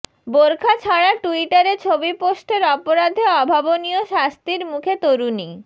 বোর্খা ছাড়া টুইটারে ছবি পোস্টের অপরাধে অভাবনীয় শাস্তির মুখে তরুণী